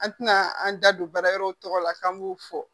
An tɛna an da don baara yɔrɔ tɔgɔ la k'an b'o fɔ